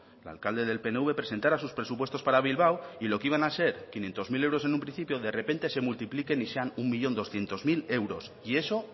el alcalde del pnv presentará sus presupuestos para bilbao y lo que iban a ser quinientos mil euros en un principio de repente se multiplique y sean un millón doscientos mil euros y eso